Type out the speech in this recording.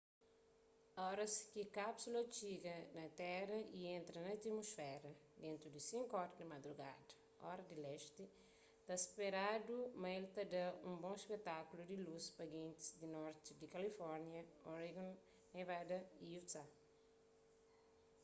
oras ki kápsula txiga na téra y entra na atmusféra dentu di 5 ora di madrugada ora di lesti ta speradu ma el ta da un bon spetákulu di lus pa gentis di norti di kalifórnia oregon nevada y utah